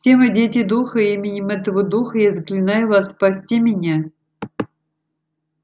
все мы дети духа и именем этого духа я заклинаю вас спасти меня